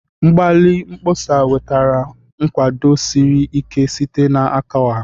Mgbalị mkpọsa wetara nkwado siri ike site n'aka ọha.